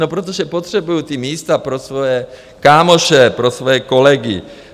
No protože potřebují ta místa pro svoje kámoše, pro svoje kolegy.